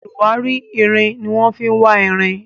oluwari ìrìn ní wan fí wá ìrìn